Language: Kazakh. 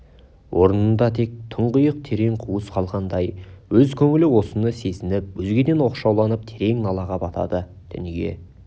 орнында тек тұңғиық терең қуыс қалғандай өз көңілі осыны сезініп өзгеден оқшауланып терең налаға батады дүние